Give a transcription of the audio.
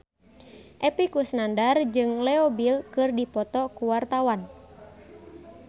Epy Kusnandar jeung Leo Bill keur dipoto ku wartawan